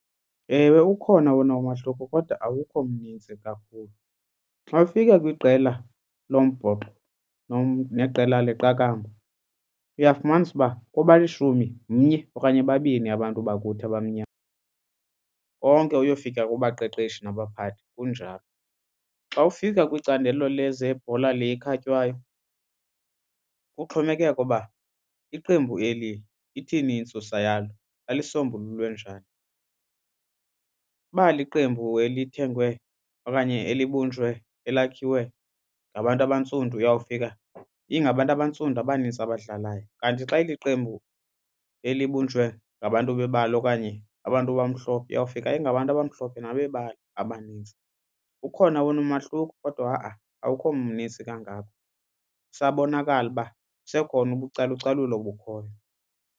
Ewe, ukhona wona umahluko kodwa awukho mnintsi kakhulu. Xa ufika kwiqela lombhoxo neqela leqakamba uyafumanisa uba kubalishumi mnye okanye babini abantu bakuthi abamnyama konke uyofika kubaqeqeshi nabaphathi kunjalo. Xa ufika kwicandelo lezebhola le ikhatywayo kuxhomekeke uba iqembu eli ithini intsusa yalo, lalisombululwe njani. Uba liqembu elithengwe okanye elibunjwe elakhiwe ngabantu abantsundu uyawufika ingabantu abantsundu abanintsi abadlalayo. Kanti xa iliqembu elibunjwe ngabantu bebala okanye abantu abamhlophe uyawufika ingabantu abamhlophe nabebala abanintsi. Ukhona wena umahluko kodwa ha-a awukho mnintsi kangako, kusabonakala uba kusekhona ukucalucalula olukhoyo.